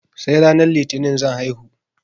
Sai ranar litinin zan haihu